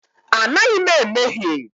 Anaghị m emehie.